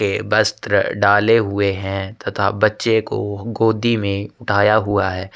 ये वस्त्र डाले हुए है तथा बच्चे को गोदी में उठाया हुआ हैं।